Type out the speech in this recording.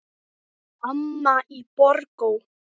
Amma í Borgó.